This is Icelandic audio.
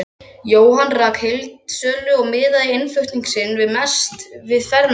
Jóhann rak heildsölu og miðaði innflutning sinn mest við fermingarbörn.